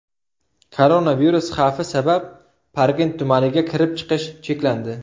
Koronavirus xavfi sabab Parkent tumaniga kirib-chiqish cheklandi.